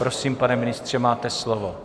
Prosím, pane ministře, máte slovo.